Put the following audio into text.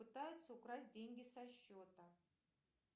пытаются украсть деньги со счета